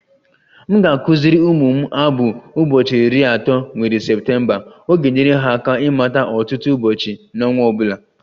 M ga-akụziri ụmụ m abụ "ụbọchị iri atọ nwere Septemba ..." Ọ ga-enyere ha aka ịmata ọtụtụ ụbọchị n'ọnwa ọ bụla.